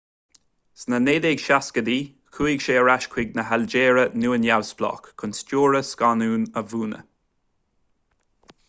sna 1960idí chuaigh sé ar ais chun na hailgéire nua-neamhspleách chun stiúradh scannáin a mhúineadh